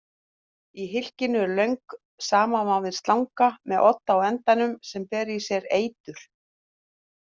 Í hylkinu er löng samanvafin slanga með odd á endanum sem ber í sér eitur.